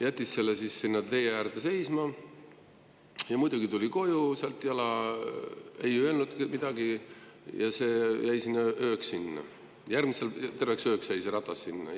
Jättis selle siis sinna tee äärde seisma ja tuli sealt jala koju, ei öelnud midagi ja see ratas jäi terveks ööks sinna.